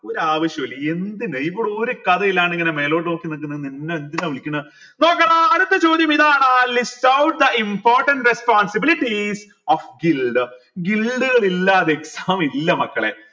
ഒരാവിശ്യോ ഇല്ല എന്തിനാ ഇവിടെ ഒരു കഥയിലാണ്ട് ഇങ്ങനെ മേലോട്ട് നോക്കി നിക്കിന്ന നിന്നെ എന്തിനാ വിളിക്കണേ okay ട അടുത്ത ചോദ്യം ഇതാണ് list out the important responsibilities of ഇല്ല മക്കളെ